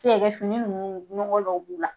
Se ka kɛ fini nunnu ɲɔgɔ dɔw b'o la.